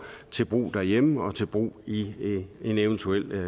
til brug derhjemme og til brug i en eventuel